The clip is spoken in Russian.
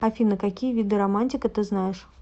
афина какие виды романтика ты знаешь